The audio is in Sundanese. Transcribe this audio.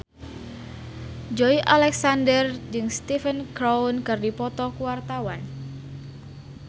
Joey Alexander jeung Stephen Chow keur dipoto ku wartawan